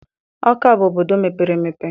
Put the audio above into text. Ọka bụ obodo mepere emepe.